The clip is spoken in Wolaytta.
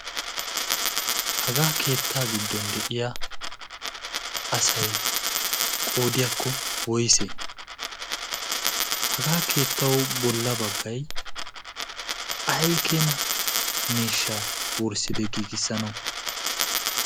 Ha keetta giddon de'iyaa asay qoodiyakko woysse? ha keettaw bollaa baggay ay keena miishsha wursside giigissanaw?